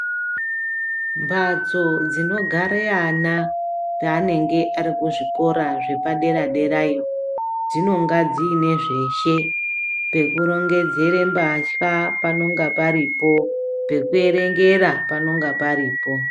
Mbatso dzinogare ana paanenge ari kuzvikora zvepadera-derayo dzinonga dziine zveshe. Pekurongedzere mbatya panonga paripo pekuerengera panonga paripo.